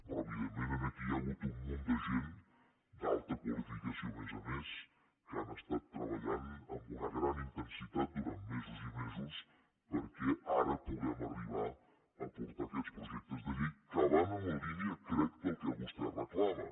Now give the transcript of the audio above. però evidentment aquí hi ha hagut un munt de gent d’alta qualificació a més a més que han estat treballant amb una gran intensitat durant mesos i mesos perquè ara puguem arribar a portar aquests projectes de llei que van en la línia crec del que vostè reclama